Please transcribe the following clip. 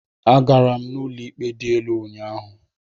Agara m ụlọ ikpe dị elu ụnyahụ.